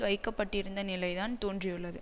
வைக்க பட்டிருந்த நிலைதான் தோன்றியுள்ளது